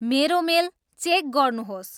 मेरो mail check गर्नुहोस्